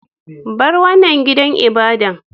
Bar wanan gidan ibadan!